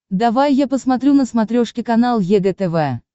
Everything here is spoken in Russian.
давай я посмотрю на смотрешке канал егэ тв